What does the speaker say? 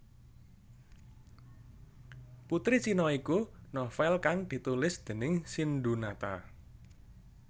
Putri Cina iku novel kang ditulis déning Sindhunata